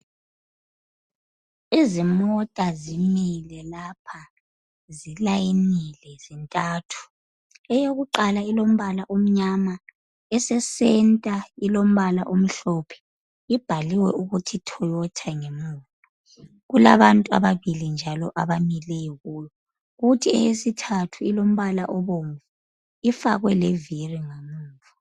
Izimota zimile lapha zilayinile zintantu, eyokuqala ilombala omnyama, esesenta ilombala omhlophe ibhaliwe ukuthi toyota ngemuva. Kulabantu ababili njalo abamileyo kuyo kuthi eyesithathu ilombala obomvu. Ifakwe leviri ngamuva.